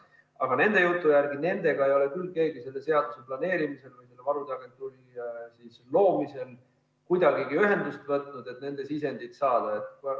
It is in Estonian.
Aga nende jutu järgi ei ole küll keegi selle seaduse planeerimisel või selle varude agentuuri loomisel nendega kuidagigi ühendust võtnud, et nende sisendit saada.